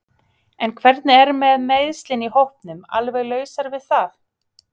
En hvernig er með meiðslin í hópnum alveg lausar við það?